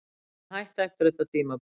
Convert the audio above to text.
Ég mun hætta eftir þetta tímabil.